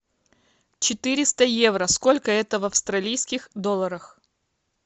четыреста евро сколько это в австралийских долларах